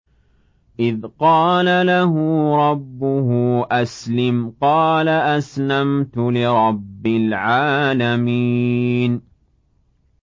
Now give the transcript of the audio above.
إِذْ قَالَ لَهُ رَبُّهُ أَسْلِمْ ۖ قَالَ أَسْلَمْتُ لِرَبِّ الْعَالَمِينَ